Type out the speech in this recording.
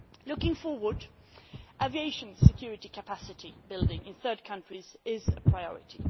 Looking forward, aviation security capacity building in third countries is a priority.